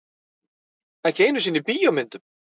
Ekki einu sinni í bíómyndum.